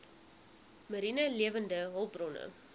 mariene lewende hulpbronne